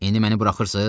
İndi məni buraxırsız?